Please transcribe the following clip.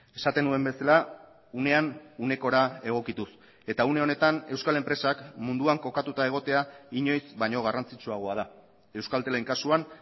esaten nuen bezala unean unekora egokituz eta une honetan euskal enpresak munduan kokatuta egotea inoiz baino garrantzitsuagoa da euskaltelen kasuan